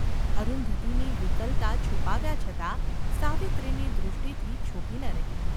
અરુંધતીની વિકલતા છુપાવ્યા છતાં સાવિત્રીની દૃષ્ટિથી છૂપી ન રહી.